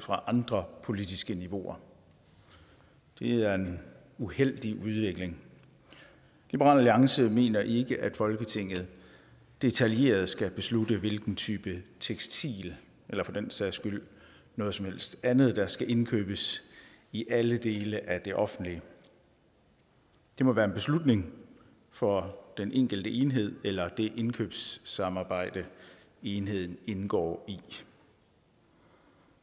fra andre politiske niveauer det er en uheldig udvikling liberal alliance mener ikke at folketinget detaljeret skal beslutte hvilken type tekstil eller for den sags skyld noget som helst andet der skal indkøbes i alle dele af den offentlige det må være en beslutning for den enkelte enhed eller det indkøbssamarbejde enheden indgår i